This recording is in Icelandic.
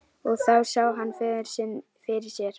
Og þá sá hann föður sinn fyrir sér.